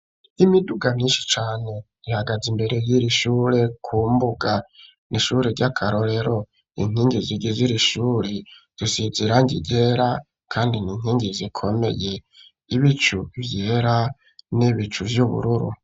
Imiduga myishi cane ihagaze imbere y'iri shure ku mbuga n'ishuri ry'akarorero inkingi zigiziri shuri zisize irangi ryera kandi n'inkingi zikomeye ibicu vyera n'ibicu vy'ubururu.